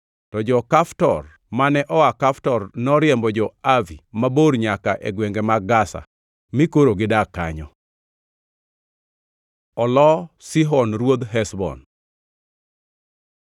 To jo-Kaftor mane oa Kaftor noriembo jo-Avi mabor nyaka e gwenge mag Gaza, mi koro gidak kanyo.) Olo Sihon Ruodh Heshbon